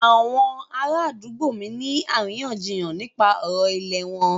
Àwọn ará àdúgbò mí ń ní àríyànjiyàn nípa ọ̀rọ̀ ìlẹ̀ wọn.